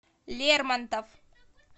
лермонтов